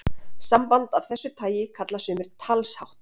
Samband af þessu tagi kalla sumir talshátt.